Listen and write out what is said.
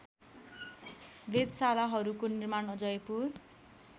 वेधशालाहरूको निर्माण जयपुर